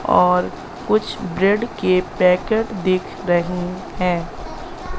और कुछ ब्रेड के पैकेट दिख रहे हैं।